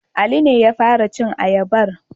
Ali ne ya fara cin ayabar.